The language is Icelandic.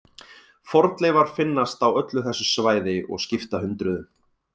Fornleifar finnast á öllu þessu svæði og skipta hundruðum.